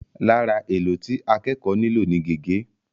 Lára èlò tí akẹ́kọ̀ọ́ nílò ni gègé.